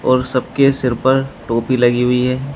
और सबके सिर पर टोपी लगी हुई है।